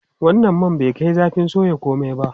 Wannan man bai kai zafin soya komai ba.